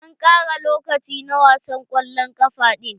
An ƙara lokaci na wasan kwallon kafa ɗin.